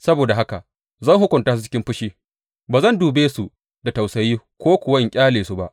Saboda haka zan hukunta su cikin fushi; Ba zan dube su da tausayi ko kuwa in ƙyale su ba.